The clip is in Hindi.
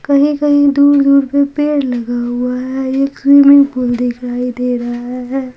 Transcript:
कही कही दूर दूर तक पेड़ लगा हुआ है एक हैंगिंग पूल दिखाई दे रहा है।